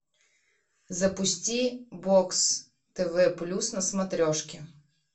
запусти бокс тв плюс на смотрешке